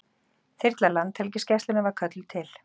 Þyrla Landhelgisgæslunnar var kölluð til